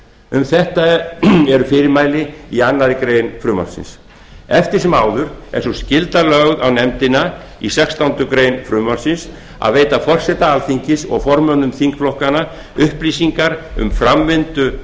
um þetta eru fyrirmæli í annarri grein frumvarpsins eftir sem áður er sú skylda lögð á nefndina í sextándu grein frumvarpsins að veita forseta alþingis og formönnum þingflokkanna upplýsingar um framvindu